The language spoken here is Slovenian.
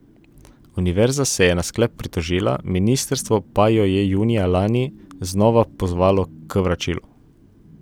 Univerza se je na sklep pritožila, ministrstvo pa jo je junija lani znova pozvalo k vračilu.